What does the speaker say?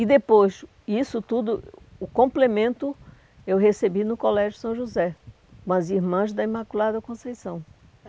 E depois, isso tudo, o complemento, eu recebi no Colégio São José, com as irmãs da Imaculada Conceição.